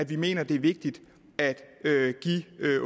vi mener det er vigtigt at give